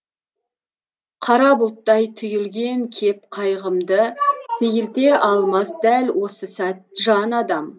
қара бұлттай түйілген кеп қайғымды сейілте алмас дәл осы сәт жан адам